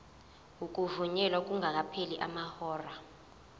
ukuvunyelwa kungakapheli amahora